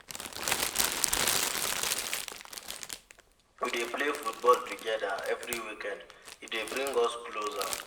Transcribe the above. We dey play football togeda every weekend, e dey bring us closer.